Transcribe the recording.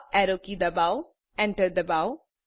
up arrow key ડબાઓ enter ડબાઓ